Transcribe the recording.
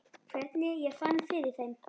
Hvernig ég fann fyrir þeim?